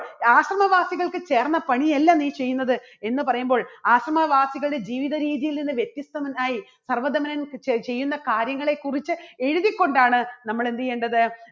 ആശ്രമവാസികൾക്ക് ചേർന്ന പണിയല്ല നീ ചെയ്യുന്നത് എന്ന് പറയുമ്പോൾ ആശ്രമവാസികളുടെ ജീവിതരീതിയിൽ നിന്ന് വ്യത്യസ്തമുണ്ടായി സർവ്വധമനൻ ചെ~ചെയ്യുന്ന കാര്യങ്ങളെക്കുറിച്ച് എഴുതി കൊണ്ടാണ് നമ്മൾ എന്ത് ചെയ്യേണ്ടത്?